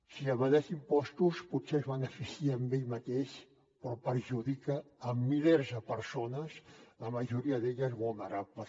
qui evadeix impostos potser es beneficia ell mateix però perjudica milers de persones la majoria d’elles vulnerables